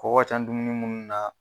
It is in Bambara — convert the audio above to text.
Kɔgɔ ka ca dumunun munnu na.